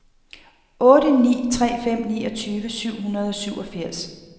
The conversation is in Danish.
otte ni tre fem niogtyve syv hundrede og syvogfirs